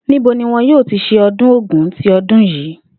Níbo ni wo̩n yóò ti s̩e o̩dún Ògún ti o̩dún yìí?